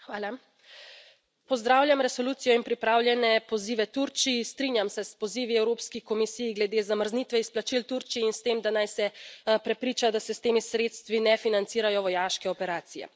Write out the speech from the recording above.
Gospa predsednica, pozdravljam resolucijo in pripravljene pozive Turčiji, strinjam se s pozivi Evropski komisiji glede zamrznitve izplačil Turčiji in s tem, da naj se prepriča, da se s temi sredstvi ne financirajo vojaške operacije.